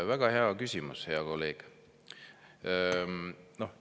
Väga hea küsimus, hea kolleeg!